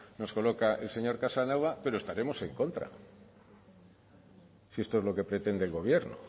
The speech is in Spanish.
nos coloca el señor casanova pero estaremos en contra si esto es lo que pretende el gobierno